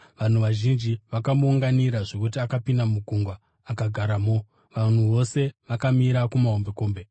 Vanhu vazhinji vakamuunganira zvokuti akapinda mugwa akagaramo, vanhu vose vakamira kumahombekombe.